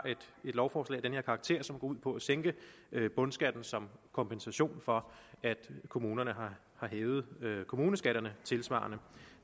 et lovforslag af den her karakter som går ud på at sænke bundskatten som kompensation for at kommunerne har hævet kommuneskatterne tilsvarende